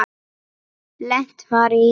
Lent var í